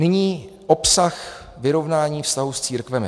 Nyní obsah vyrovnání vztahu s církvemi.